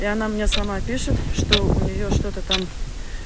и она мне сама пишет что у неё что-то там